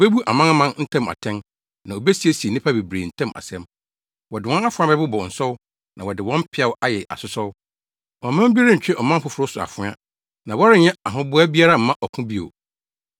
Obebu amanaman ntam atɛn na obesiesie nnipa bebree ntam asɛm. Wɔde wɔn afoa bɛbobɔ nsɔw na wɔde wɔn mpeaw ayɛ asosɔw. Ɔman bi rentwe ɔman foforo so afoa, na wɔrenyɛ ahoboa biara mma ɔko bio.